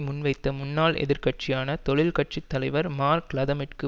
முன்வைத்த முன்னாள் எதிர்கட்சியான தொழில் கட்சி தலைவர் மார்க் லதமிற்கு